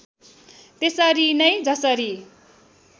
त्यसरी नै जसरी